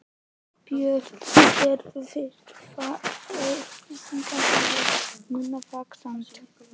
Björn: Sérðu fyrir þér að atvinnuleysi fari nú vaxandi?